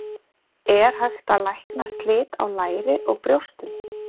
Er hægt að lækna slit á læri og brjóstum?